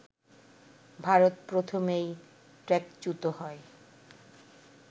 ভারত প্রথমেই ট্র্যাকচ্যুত হয়